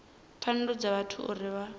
pfanelo dza vhathu uri vha